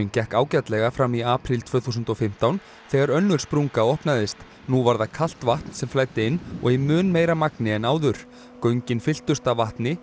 gekk ágætlega fram í apríl tvö þúsund og fimmtán þegar önnur sprunga opnaðist nú var það kalt vatn sem flæddi inn og í mun meira magni en áður göngin fylltust af vatni